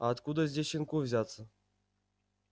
а откуда здесь щенку взяться